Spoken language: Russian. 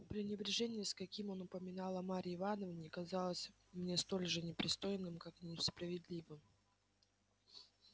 пренебрежение с каким он упоминал о марье ивановне казалось мне столь же непристойным как и несправедливым